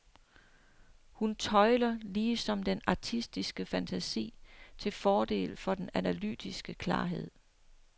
Hun tøjler ligesom den artistiske fantasi til fordel for den analytiske klarhed.